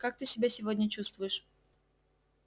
как ты себя сегодня чувствуешь